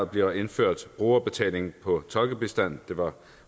bliver indført brugerbetaling på tolkebistand det var